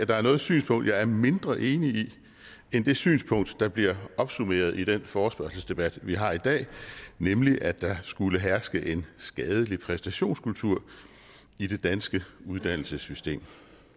der er noget synspunkt jeg er mindre enig i end det synspunkt der bliver opsummeret i den forespørgselsdebat vi har i dag nemlig at der skulle herske en skadelig præstationskultur i det danske uddannelsessystem